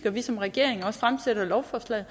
vi som regering fremsætter lovforslaget